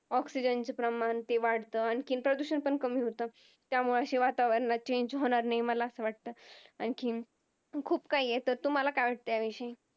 Oxigen चा प्रमाण वाडत, आणखीन प्रदूषण पण कमी होत, त्यामुळे वातावरण असे Change होणार नाहीत असं मला वाटत. आणखीन खूप काही आहे तर तुम्हाला काय वाटत त्या विषयी